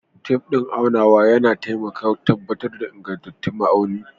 Tef din aunawa yana taimakawa tabbatar da ingantattu ma’auni.